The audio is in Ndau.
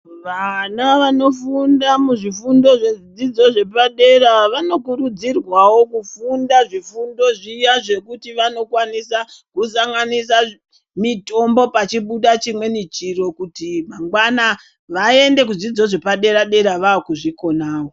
Vana vanofunda muzvifundo zvedzidzo zvepadera vanokurudzirwawo kufunda zvifundo zviya zvekuti vanokwanisa kusanganisa mitombo pachibuda chimweni chiro kuti mangwana vaende kuzvidzidzo zvepadera-dera vakuzvikona.